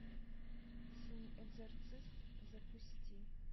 синий экзорцист запусти